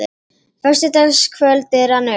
Föstudagskvöldið rann upp.